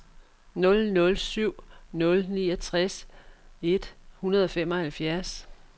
nul nul syv nul niogtres et hundrede og femoghalvfjerds